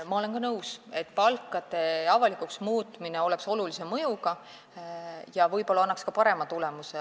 Ma olen ka nõus, et palkade avalikuks muutmine oleks olulise mõjuga ja võib-olla annaks ka parema tulemuse.